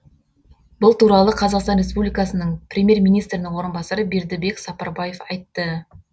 бұл туралы қазақстан ресупбликасының премьер министрінің орынбасары бердібек сапарбаев айтты